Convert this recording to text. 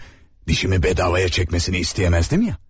dişimi bedavaya çəkməsini istəyənməzdim ya?